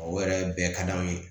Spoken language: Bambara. O yɛrɛ bɛɛ ka d'anw ye